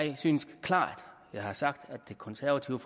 jeg synes jeg klart har sagt at det konservative